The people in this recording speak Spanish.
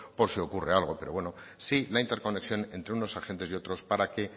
por si ocurre algo pero bueno sí la interconexión entre unos agentes y otros para que